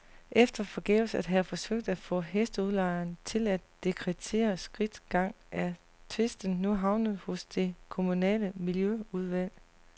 Efter forgæves at have forsøgt at få hesteudlejeren til at dekretere skridtgang er tvisten nu havnet hos det kommunale miljøudvalg.